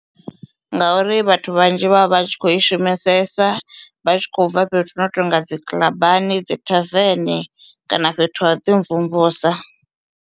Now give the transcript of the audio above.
Ngauri vhathu vhanzhi vha vha vha tshi kho i shumesesa vha tshi khou bva fhethu hu no tonga dzi kiḽabani, dzi tavern, kana fhethu ha u ḓi mvumvusa.